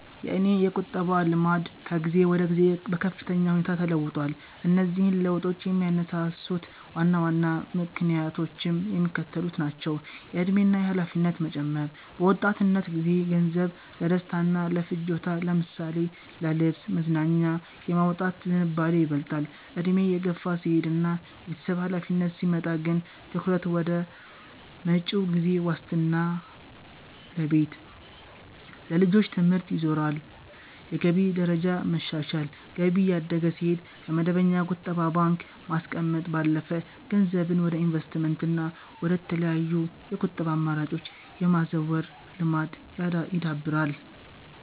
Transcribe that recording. የእኔ የቁጠባ ልማድ ከጊዜ ወደ ጊዜ በከፍተኛ ሁኔታ ተለውጧል። እነዚህን ለውጦች የሚያነሳሱት ዋና ዋና ምክንያቶችም የሚከተሉት ናቸው፦ የዕድሜ እና የኃላፊነት መጨመር፦ በወጣትነት ጊዜ ገንዘብን ለደስታና ለፍጆታ ለምሳሌ ለልብስ፣ መዝናኛ የማውጣት ዝንባሌ ይበልጣል፤ ዕድሜ እየገፋ ሲሄድና የቤተሰብ ኃላፊነት ሲመጣ ግን ትኩረት ወደ መጪው ጊዜ ዋስትና ለቤት፣ ለልጆች ትምህርት ይዞራል። የገቢ ደረጃ መሻሻል፦ ገቢ እያደገ ሲሄድ፣ ከመደበኛ ቁጠባ ባንክ ማስቀመጥ ባለፈ ገንዘብን ወደ ኢንቨስትመንትና ወደ ተለያዩ የቁጠባ አማራጮች የማዛወር ልማድ ይዳብራል።